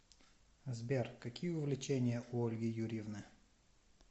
сбер какие увлечения у ольги юрьевны